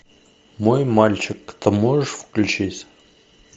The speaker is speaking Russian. мой мальчик ты можешь включить